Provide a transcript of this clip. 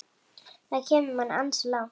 Það kemur manni ansi langt.